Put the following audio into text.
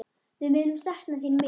Við munum sakna þín mikið.